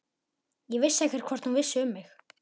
Ég vissi ekkert hvort hún vissi um mig.